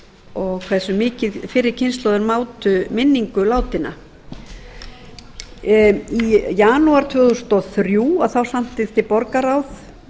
og hversu mikið fyrri kynslóðir mátu minningu látinna í janúar tvö þúsund og þrjú samþykkti borgarráð